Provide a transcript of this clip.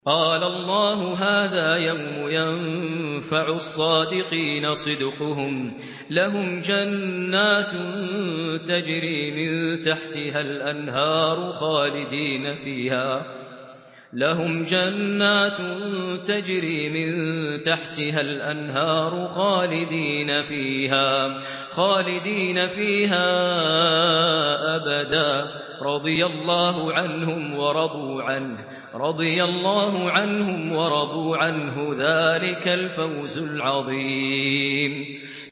قَالَ اللَّهُ هَٰذَا يَوْمُ يَنفَعُ الصَّادِقِينَ صِدْقُهُمْ ۚ لَهُمْ جَنَّاتٌ تَجْرِي مِن تَحْتِهَا الْأَنْهَارُ خَالِدِينَ فِيهَا أَبَدًا ۚ رَّضِيَ اللَّهُ عَنْهُمْ وَرَضُوا عَنْهُ ۚ ذَٰلِكَ الْفَوْزُ الْعَظِيمُ